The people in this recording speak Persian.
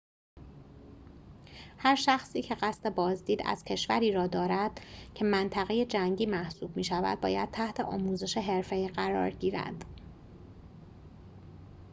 هر شخصی که قصد بازدید از کشوری را دارد که منطقه جنگی محسوب می‌شود باید تحت آموزش حرفه‌ای قرار گیرد